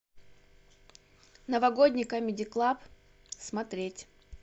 новогодний камеди клаб смотреть